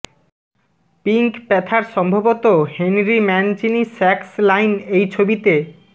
pink Panther সম্ভবত Henry Mancini sax line এই ছবিতে